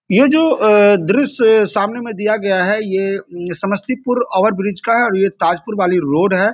यह जो अ दृश्य सामने में दिया गया है ये समस्तीपुर ओवरब्रिज का है और ये ताजपुर वाली रोड है।